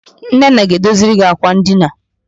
Nnenna ga-edoziri gi àkwà ndina.